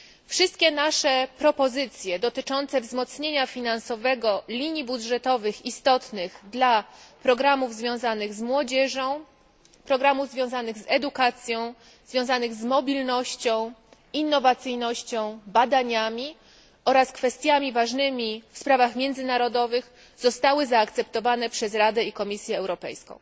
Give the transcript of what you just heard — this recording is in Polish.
Wszystkie nasze propozycje dotyczące wzmocnienia finansowego linii budżetowych istotnych dla programów związanych z młodzieżą, edukacją, mobilnością, innowacyjnością, badaniami oraz kwestiami ważnymi w sprawach międzynarodowych zostały zaakceptowane przez Radę i Komisję Europejską.